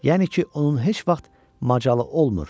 Yəni ki, onun heç vaxt macalı olmur.